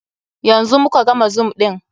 Yanzu mu ka gama zoom ɗin.